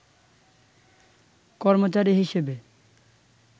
কর্মচারী হিসেবে